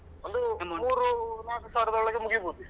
ಒಂದು ಮೂರು amount ನಾಲ್ಕು ಸಾವಿರದ ಒಳಗೆ ಮುಗಿಬೋದು.